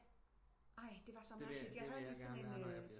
Ej det var så mærkeligt jeg havde lige sådan en